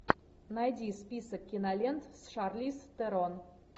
найди список кинолент с шарлиз терон